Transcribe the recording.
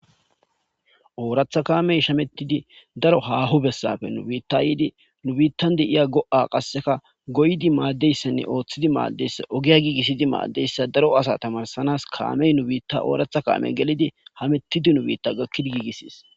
Oratha kamey shametid daro haho besappe nu biittan yid nu biittan de'ya go'a goyid madiyaysane ogiya gigisid madiyaysa daro asa tamarisanas kamey nu bitta orata kamey gelid hamitid nu bita gakid gigises.